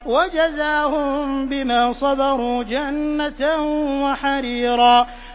وَجَزَاهُم بِمَا صَبَرُوا جَنَّةً وَحَرِيرًا